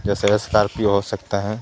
जैसे ये सकार्पिओ हो सकता हे.